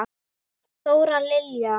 Þóra Lilja.